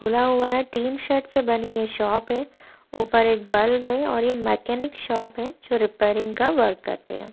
खुला हुआ है टिन सेट से बनी है शॉप है ऊपर एक बल्ब है और यह मैकेनिक शॉप है जो रिपेयरिंग का वर्क करते हैं।